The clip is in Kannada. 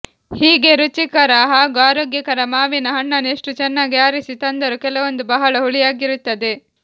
ಹೀಗೆ ರುಚಿಕರ ಹಾಗೂ ಆರೋಗ್ಯಕರ ಮಾವಿನ ಹಣ್ಣನ್ನು ಎಷ್ಟು ಚೆನ್ನಾಗಿ ಆರಿಸಿ ತಂದರೂ ಕೆಲವೊಂದು ಬಹಳ ಹುಳಿಯಾಗಿರುತ್ತದೆ